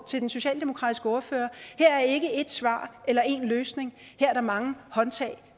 til den socialdemokratiske ordfører her er ikke ét svar eller én løsning her er der mange håndtag